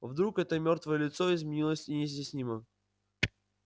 вдруг это мёртвое лицо изменилось неизъяснимо